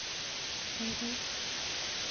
Kaikai.